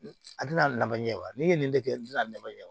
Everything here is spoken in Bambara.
A tɛna na ɲɛ wa ne ye nin de kɛ n tɛna ɲɛ